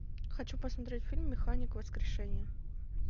хочу посмотреть фильм механик воскрешение